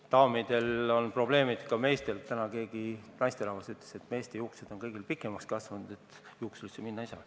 Daamidel on probleemid, ka meestel – täna keegi naisterahvas ütles, et kõigil meestel on juuksed pikemaks kasvanud, sest juuksurisse minna ei saa.